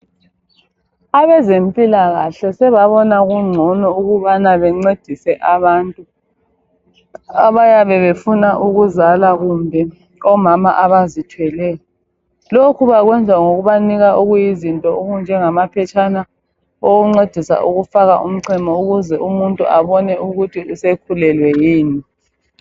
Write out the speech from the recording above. Abezempilakahle sebabona kungcono ukubana bencedise abantu abayabe befuna ukuzala kumbe omama abazithweleyo. Lokhu bakwenza ngokubanika izinto okunjengamaphetshana okokuncedisa ukufaka umchemo ukuze umuntu abone ukuthi sekhulelwe yini.